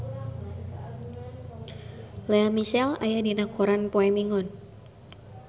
Lea Michele aya dina koran poe Minggon